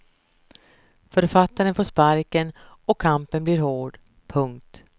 Författaren får sparken och kampen blir hård. punkt